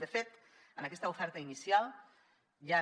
de fet en aquesta oferta inicial hi han